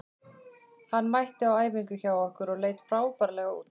Hann mætti á æfingu hjá okkur og leit frábærlega út.